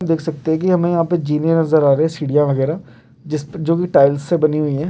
हम देख सकते हैं की हमें यहाँ पे जीने नजर आ रहा हैं सीढ़ियां वगैहरा जिसपे जो की टाइटल्स से बनी हुई हैं।